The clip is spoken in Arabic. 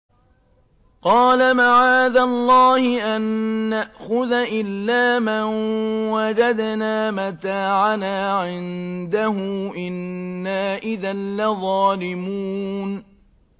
قَالَ مَعَاذَ اللَّهِ أَن نَّأْخُذَ إِلَّا مَن وَجَدْنَا مَتَاعَنَا عِندَهُ إِنَّا إِذًا لَّظَالِمُونَ